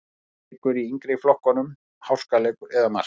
Leikur í yngri flokkunum-Háskaleikur eða mark?